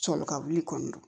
Sɔlikawuli kɔni don